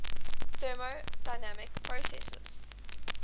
thermodynamic processes